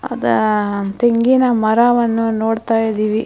ಅಹ್ ಅಹ್ ಥೆಂಗಿನ ಮರವನ್ನ ನೋಡ್ತಾಯಿದ್ದೀವಿ .